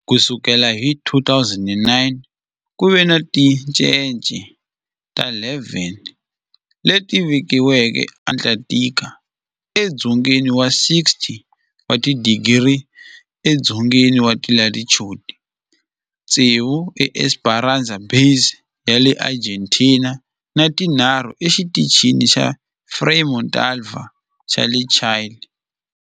Ku sukela hi 2009, ku ve ni tincece ta 11 leti velekiweke eAntarctica, edzongeni wa 60 wa tidigri edzongeni wa latitude, tsevu eEsperanza Base ya le Argentina ni tinharhu eXitichini xa Frei Montalva xa le Chile.